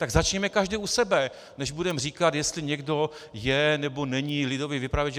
Tak začněme každý u sebe, než budeme říkat, jestli někdo je, nebo není lidový vypravěč.